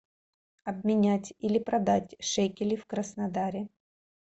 обменять или продать шекели в краснодаре